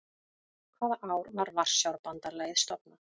Hvaða ár var Varsjárbandalagið stofnað?